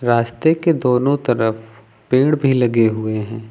रास्ते के दोनों तरफ पेड़ भी लगे हुए हैं।